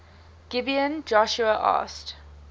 gibeon joshua asked